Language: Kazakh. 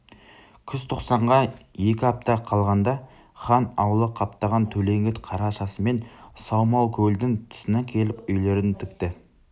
күзтоқсанға екі апта қалғанда хан аулы қаптаған төлеңгіт қарашасымен саумалкөлдің тұсына келіп үйлерін тікті